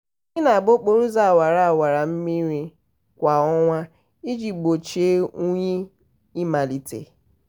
anyị na-gba okporo ụzọ awara awara mmiri kwa ọnwa iji gbochie unyi ịmalite.